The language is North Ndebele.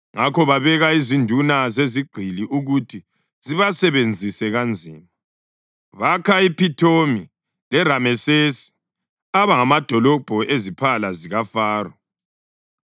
Ngakho babeka izinduna zezigqili ukuthi zibasebenzise kanzima, bakha iPhithomi leRamesesi aba ngamadolobho eziphala zikaFaro.